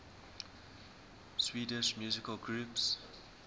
swedish musical groups